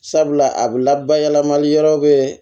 Sabula a bɛ labanali yɔrɔ bɛ